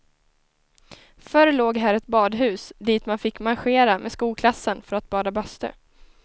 Förr låg här ett badhus dit man fick marschera med skolklassen för att bada bastu.